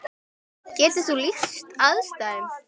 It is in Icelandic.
Getur þú lýst aðstæðum?